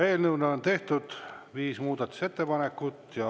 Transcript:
Eelnõu kohta on tehtud viis muudatusettepanekut.